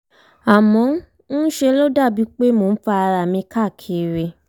àmọ́ ń ṣe ló dàbí pé mò ń fa ara mi káàkiri